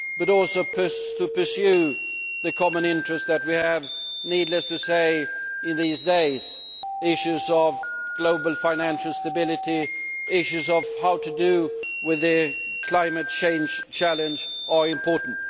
but also to pursue the common interest that, needless to say, we have these days issues of global financial stability, issues of how to deal with the climate change challenge are important.